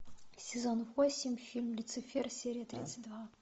сезон восемь фильм люцифер серия тридцать два